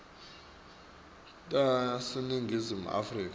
taseningizimu afrika nobe